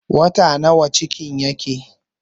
Wata nawa cikin yake?